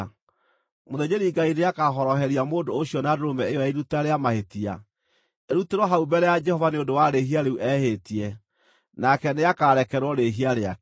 Mũthĩnjĩri-Ngai nĩakahoroheria mũndũ ũcio na ndũrũme ĩyo ya iruta rĩa mahĩtia, ĩrutĩrwo hau mbere ya Jehova nĩ ũndũ wa rĩĩhia rĩu ehĩtie, nake nĩakarekerwo rĩĩhia rĩake.